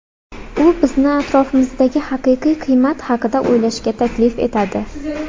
U bizni atrofimizdagi haqiqiy qiymat haqida o‘ylashga taklif etadi.